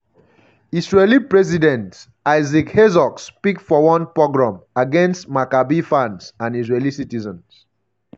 israeli president isaac herzog speak for one um "pogrom" against maccabi fans and israeli citizens.